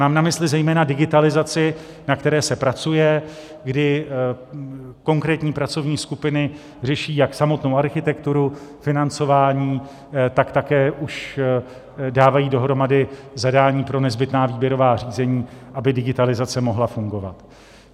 Mám na mysli zejména digitalizaci, na které se pracuje, kdy konkrétní pracovní skupiny řeší jak samotnou architekturu, financování, tak také už dávají dohromady zadání pro nezbytná výběrová řízení, aby digitalizace mohla fungovat.